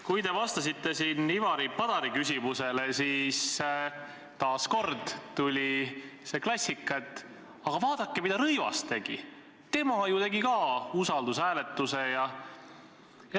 Kui te vastasite Ivari Padari küsimusele, siis kõlas taas see klassika, et aga vaadake, mida Rõivas tegi, tema ju korraldas ka usaldusküsimusega sidumise.